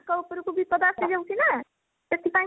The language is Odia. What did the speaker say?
ତାଙ୍କ ଉପରକୁ ବିପଦ ଆସିଯାଉଛି ନା ସେଥି ପାଇଁ